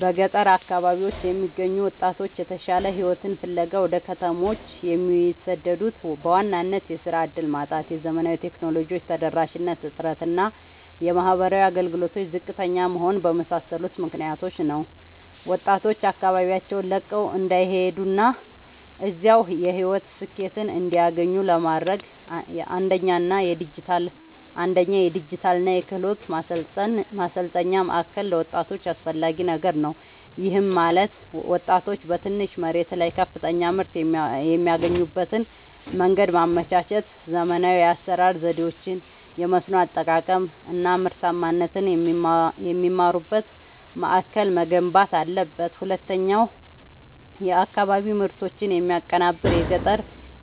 በገጠር አካባቢዎች የሚገኙ ወጣቶች የተሻለ ሕይወትን ፍለጋ ወደ ከተሞች የሚሰደዱት በዋናነት የሥራ ዕድል ማጣት፣ የዘመናዊ ቴክኖሎጂ ተደራሽነት እጥረት እና የማኅበራዊ አገልግሎቶች ዝቅተኛ መሆን በመሳሰሉ ምክኒያቶች ነው። ወጣቶች አካባቢያቸውን ለቀው እንዳይሄዱና እዚያው የሕይወት ስኬትን እንዲያገኙ ለማድረግ፣ አንደኛ የዲጂታልና የክህሎት ማሠልጠኛ ማእከል ለወጣቶች አስፈላጊ ነገር ነው። ይህም ማለት ወጣቶች በትንሽ መሬት ላይ ከፍተኛ ምርት የሚያገኙበትን መንገድ ማመቻቸት፣ ዘመናዊ የአሠራር ዘዴዎችን፣ የመስኖ አጠቃቀም አናምርታማነትን የሚማሩበት ማእከል መገንባት አለበት። ሁለተኛው የአካባቢ ምርቶችን የሚያቀናብር የገጠር